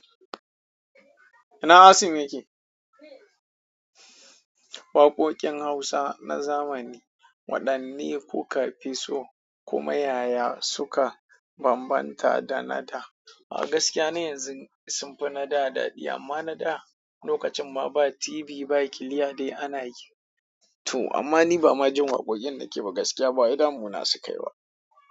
Ina Hasan yake? Waƙoƙin Hausa na zamani waɗanne kuka fi so kuma yaya suka bambanta da na da? A gaskiya na yanzun sun fi na da daɗi, amma na da lokacin ma ba TV ba kiliya dai ana yi. To, amma ni ba ma jin waƙoƙin nike ba gaskiya ba wai damu na su ka yi ba.